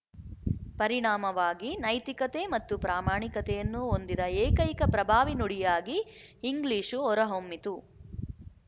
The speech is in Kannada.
ಪರಿಣಾಮವಾಗಿ ನೈತಿಕತೆ ಮತ್ತು ಪ್ರಾಮಾಣಿಕತೆಯನ್ನು ಹೊಂದಿದ ಏಕೈಕ ಪ್ರಭಾವಿ ನುಡಿಯಾಗಿ ಇಂಗ್ಲಿಶು ಹೊರಹೊಮ್ಮಿತು